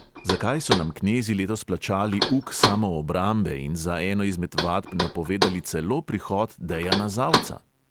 Zakaj so nam knezi letos plačali uk samoobrambe in za eno izmed vadb napovedali celo prihod dejana zavca?